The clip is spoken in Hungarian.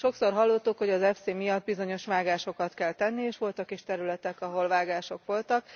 Sokszor hallottuk, hogy az FC miatt bizonyos vágásokat kell tenni, és voltak is területek, ahol vágások voltak.